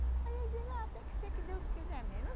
Aí ele diz, ah tem que ser que Deus quiser mesmo.